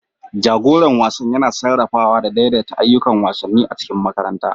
Jagoran wasan yana sarrafawa da daidaita ayyukan wasanni a cikin makaranta.